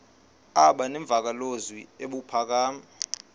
aba nemvakalozwi ebuphakama